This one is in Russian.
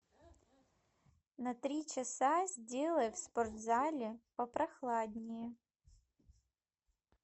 на три часа сделай в спортзале попрохладнее